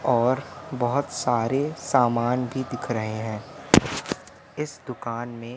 और बहोत सारे सामान भी दिख रहे हैं इस दुकान में--